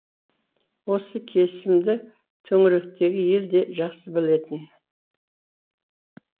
осы кесімді төңіректегі ел де жақсы білетін